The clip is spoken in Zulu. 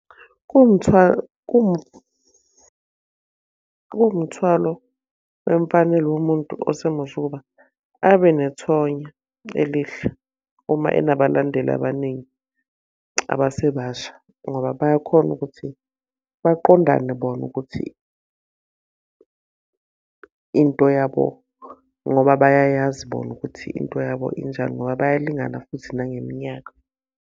Kuwumthwalo wemfanelo womuntu osemusha ukuba, abe nethonya elihle uma enabalandeli abaningi abasebasha. Ngoba bayakhona ukuthi, baqondane bona ukuthi, into yabo ngoba bayayazi bona ukuthi into yabo injani ngoba bayalingana futhi nangeminyaka.